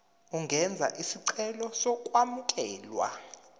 ungenza isicelo sokwamukelwa